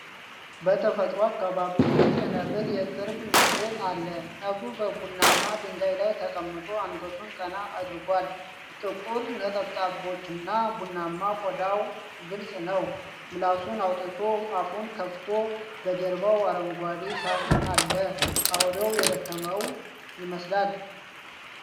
በተፈጥሮ አካባቢ ውስጥ የነብር የቅርብ ምስል አለ። ነብሩ በቡናማ ድንጋይ ላይ ተቀምጦ አንገቱን ቀና አድርጓል፤ ጥቁር ነጠብጣቦችና ቡናማ ቆዳው ግልጽ ነው። ምላሱን አውጥቶ አፉን ከፍቷል፤ በጀርባው አረንጓዴ ሣር አለ። አውሬው የደከመው ይመስላል።